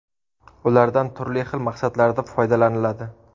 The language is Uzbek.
Ulardan turli xil maqsadlarda foydalaniladi.